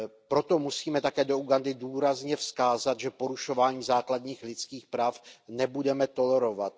Proto musíme také do Ugandy důrazně vzkázat, že porušování základních lidských práv nebudeme tolerovat.